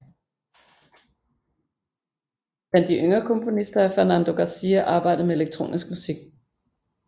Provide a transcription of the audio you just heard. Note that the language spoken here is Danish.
Blandt de yngre komponister har Fernando García arbejdet med elektronisk musik